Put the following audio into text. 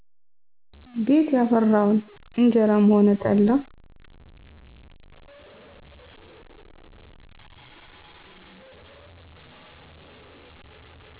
ቤት ያፈራውን እጀራም ሆነ ጠላ